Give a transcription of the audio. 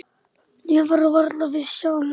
Ég var varla viss sjálf.